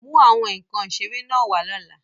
Mú àwọn nkan ìṣeré náà wá lọ́la!